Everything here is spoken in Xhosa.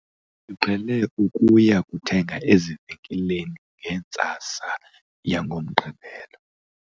siqhele ukuya kuthenga ezivenkileni ngentsasa yangoMgqibelo